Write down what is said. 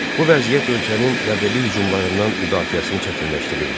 Bu vəziyyət ölkənin yadelli hücumlarından müdafiəsini çətinləşdirirdi.